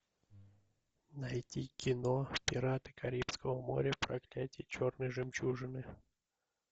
найти кино пираты карибского моря проклятие черной жемчужины